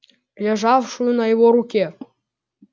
лежавшую на его руке